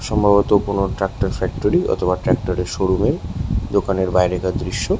সম্ভবত কোনো tractor factory অথবা ট্র্যাক্টর - এর শোরুম এর দোকানের বাইরেকার দৃশ্য --